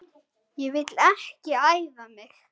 Ég vil ekki æfa mig.